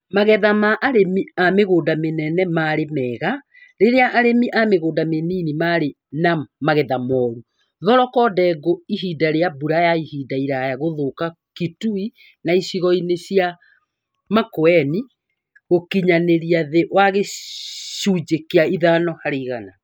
Magetha ma arĩmĩ a mĩgũnda mĩnene marĩ mega rĩrĩa arĩmĩ a mĩgunda mĩnini marĩ na magetha moru. Thoroko na ndengũ ihinda rĩa mbura ya ihinda iraya gũthũka Kitui na icigo cia Makueni gũkinyanĩria thĩ wa gĩcunjĩ kĩa ithano harĩ igana